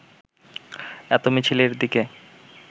এত মিছিলের দিকে